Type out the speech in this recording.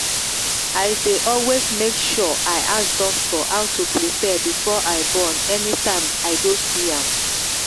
i day always make sure i ask doctor how to prepare before i born anytime i go see am.